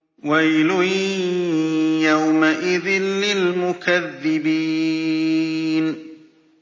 وَيْلٌ يَوْمَئِذٍ لِّلْمُكَذِّبِينَ